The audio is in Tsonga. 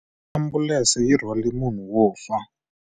Ambulense yi rhwarile munhu wo fa.